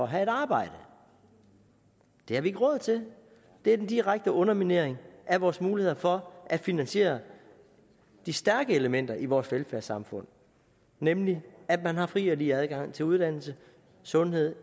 have et arbejde det har vi ikke råd til det er den direkte underminering af vores muligheder for at finansiere de stærke elementer i vores velfærdssamfund nemlig at man har fri og lige adgang til uddannelse og sundhed